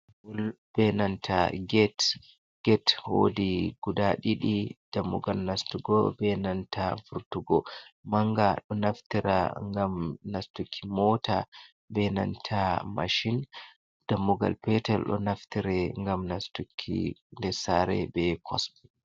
Bol ɓe nanta get, get woɗi guɗa ɗiɗi. Ɗammugal nastugo ɓe nanta furtugo. Manga ɗo naftira ngam nastuki mota, ɓe nanta mashin. Ɗammugal petel ɗo naftire ngam nastuki nɗer sare ɓe kos.